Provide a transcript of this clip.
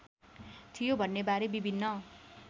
थियो भन्नेबारे विभिन्न